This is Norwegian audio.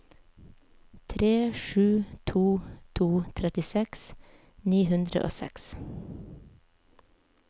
tre sju to to trettiseks ni hundre og seks